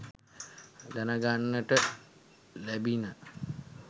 දැනගන්නට ලැබිණ